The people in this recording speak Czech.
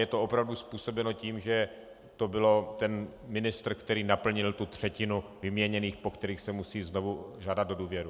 Je to opravdu způsobeno tím, že to byl ten ministr, který naplnil tu třetinu vyměněných, po kterých se musí znovu žádat o důvěru.